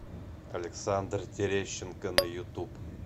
александр терещенко на ютуб